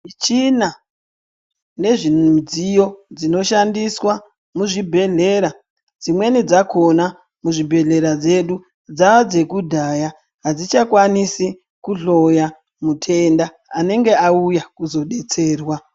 Michina nezvimidziyo dzinoshandiswa muzvibhedhlera, dzimweni dzakhona mudzibhedhlera dzedu dzadzekudaya, hadzichakwanisi kudhloya mutenda anenge auya kuzobetserwa.